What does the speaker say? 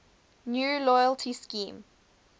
new loyalty scheme